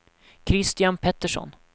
Christian Petersson